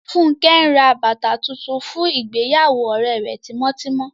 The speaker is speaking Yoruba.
Funke n rá bátà tuntun fún ìgbèyàwó òrẹ rẹ̀ tímọtímọ